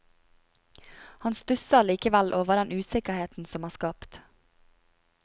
Han stusser likevel over den usikkerheten som er skapt.